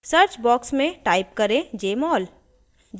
search box में type करें jmol